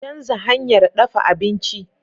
Canza hanyar ɗafa abinci!